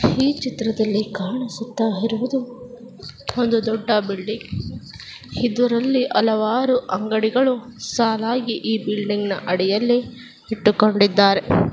ಈ ಚಿತ್ರದಲ್ಲಿ ಕಾಣಿಸುತ್ತಾ ಇರುವುದು ಒಂದು ದೊಡ್ಡ-- ಹಲವ್ವರು ಬಿಲ್ಡಿಂಗ್ ನಲ್ಲಿ ಅಂಗಡಿ ಇಟ್ಟಕೊಂಡಿದ್ದಾರೆ